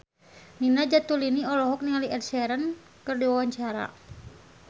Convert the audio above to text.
Nina Zatulini olohok ningali Ed Sheeran keur diwawancara